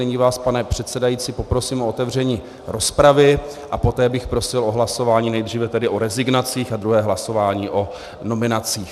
Nyní vás, pane předsedající, poprosím o otevření rozpravy a poté bych prosil o hlasování nejdříve tedy o rezignacích a druhé hlasování o nominacích.